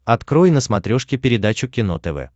открой на смотрешке передачу кино тв